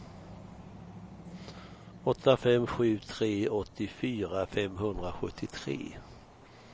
åtta fem sju tre åttiofyra femhundrasjuttiotre